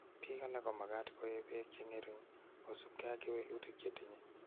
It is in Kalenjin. Piil alak ko makat ko ee pek che nge'ring' kosupke ak kewelutik che tinye